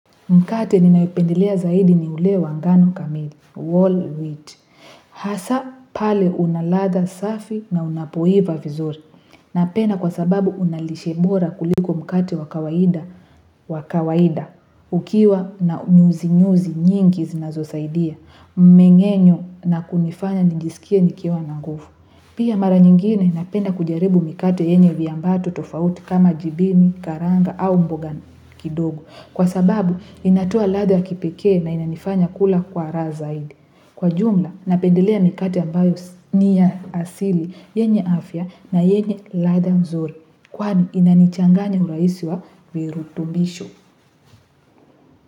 Mkate ninaopendelea zaidi ni ule wangano kamili. Wall Ridge. Hasa pale unaladha safi na unapoiva vizuri. Napenda kwa sababu unalishe bora kuliko mkate wa kawaida. Ukiwa na nyuzi nyuzi nyingi zinazosaidia. Mmengenyo na kunifanya ninjisikie nikiwa na nguvu. Pia mara nyingine napenda kujaribu mikate yenye viambato tofauti kama jibini, karanga au mboga kidogo. Kwa sababu, inatoa ladha ya kipekee na inanifanya kula kwa raha zaidi. Kwa jumla, napendelea mikate ambayo ni ya asili, yenye afya na yenye ladha nzuri. Kwani, inanichanganya uraisi wa virutubisho.